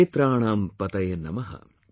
Kshetranam PatayeNamah